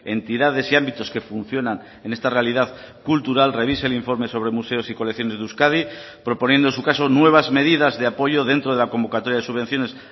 entidades y ámbitos que funcionan en esta realidad cultural revise el informe sobre museos y colecciones de euskadi proponiendo en su caso nuevas medidas de apoyo dentro de la convocatoria de subvenciones